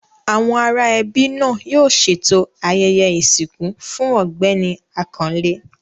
Àwọn ará ẹbí náà yóò ṣètò ayẹyẹ ìsìnkú fún Ọ̀gbẹ́ni Àkànlé.